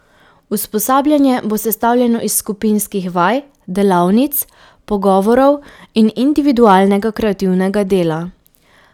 Usposabljanje bo sestavljeno iz skupinskih vaj, delavnic, pogovorov in individualnega kreativnega dela.